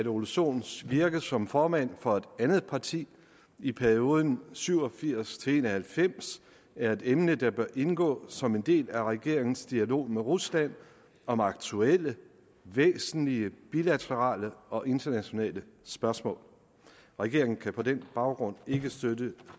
ole sohn virke som formand for et andet parti i perioden syv og firs til en og halvfems er et emne der bør indgå som en del af regeringens dialog med rusland om aktuelle væsentlige bilaterale og internationale spørgsmål regeringen kan på den baggrund ikke støtte